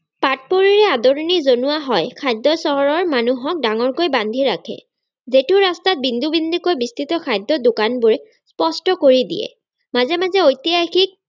আদৰনি জনোৱা হয় খাদ্য চহৰৰ মানুহক ডাঙৰকৈ বান্ধি ৰাখে যিটো ৰাস্তাত বিন্দু বিন্দুকৈ বিস্তৃত খাদ্যৰ দোকানবোৰে স্পষ্ট কৰি দিয়ে মাজে মাজে ঐতিহাসিক